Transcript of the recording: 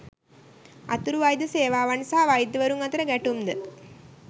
අතුරු වෛද්‍ය සේවාවන් සහ වෛද්‍යවරුන් අතර ගැටුම්ද